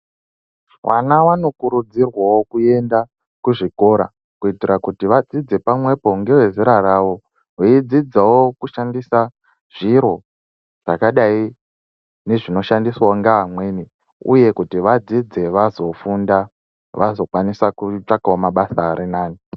Vana vanokurudzirwawo kuenda kuzvikora kuitira kuti vadzidze pamwepo ngevezera ravo veidzidzawo kushandisa zviro zvakadai nezvinoshandiswawo ngeamweni uye uye kuti vadzidze vazofunda vazokwanisawo kutsvaka mabasa arinani.